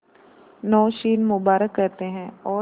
नौशीन मुबारक कहते हैं और